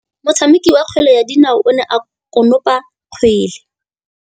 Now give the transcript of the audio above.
Motshameki wa kgwele ya dinaô o ne a konopa kgwele.